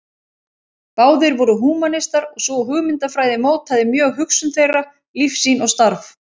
Báðir voru húmanistar og sú hugmyndafræði mótaði mjög hugsun þeirra, lífssýn og starf.